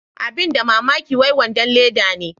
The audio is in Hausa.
abin da mamaki wai wadon Leda ne.